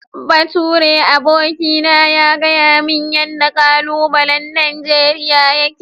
Baturen aboki na ya gayamin yanda kalubalai Nigeria yake.